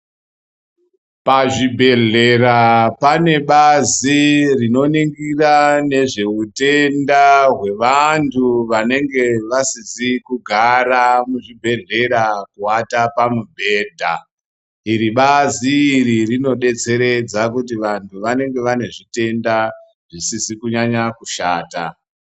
Pazvibhedhlera pane bazi rinoningira nezveutenda hwevantu vanenge vasizi kugara muzvibhedhlera kuwata pamubhedha. Iri bazi iri rinodetseredza kuti vantu vanenge vane zvitenda zvisizi kunyanya kushata.